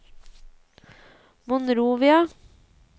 Monrovia